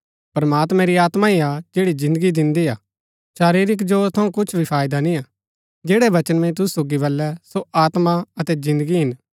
प्रमात्मां री आत्मा ही हा जैड़ी जिन्दगी दिन्दी हा शरीरिक जोर थऊँ कुछ भी फायदा निय्आ जैड़ै वचन मैंई तुसु सोगी बलै सो आत्मा अतै जिन्दगी हिन